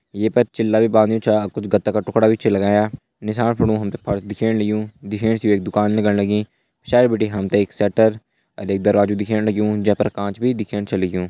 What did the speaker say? ये पर चिल्ला भी बांघ्युं छ कुछ गत्ता का टुकड़ा भी छ लगायां निसाण फुणु हम त फर्स दिखेण लग्युं दिखेण से वे एक दुकान लगण लगीं पिछाड़ी बिटि हम त एक शटर और एक दरवाजु दिखेण लग्युं जै पर कांच भी दिखेण छ लग्युं।